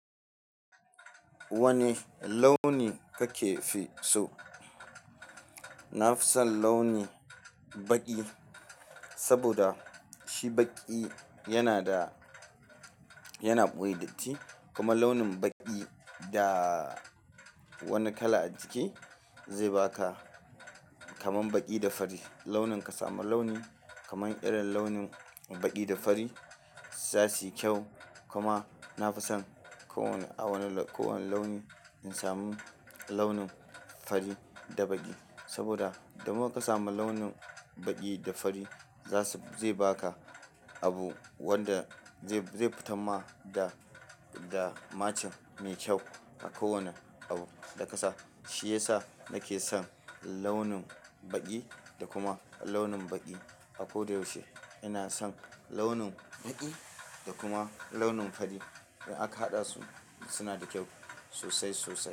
Wane launi kake fi so? Na fi son launin baƙi, saboda shi baƙi yana da, yana ɓoye datti kuma launin baƙi da wani kala a jiki zai baka kamar baƙi da fari. Launin ka samu launi kamar irin launin baƙi da fari za su yi kyau. Kuma na fi son kowane a wani kowane launi in samu launin fari da baƙi. Saboda the more ka samu launin baƙi da fari za su, zai baka abu wanda zai, zai fita ma da, da matching mai kyau a kowane abu da ka sa. Shi ya sa nake son launin baƙi da kuma launin baƙi. A ko da yaushe ina son launin baƙi da kuma launin fari. In aka haɗa su suna da kyau sosai sosai.